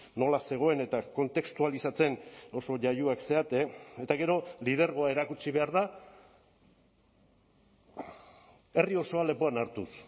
nola zegoen eta kontestualizatzen oso jaioak zarete eta gero lidergoa erakutsi behar da herri osoa lepoan hartuz